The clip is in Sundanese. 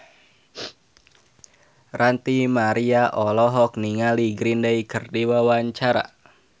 Ranty Maria olohok ningali Green Day keur diwawancara